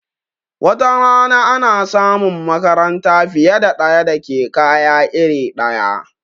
Watarana ana samun makaranta fiye da ɗaya da ke kaya iri ɗaya